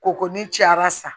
Ko ko ni cayara sa